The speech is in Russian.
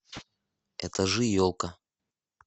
этажи елка